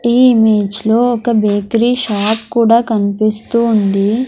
ఈ ఇమేజ్లో ఒక బేకరీ షాప్ కూడా కనిపిస్తూ ఉంది.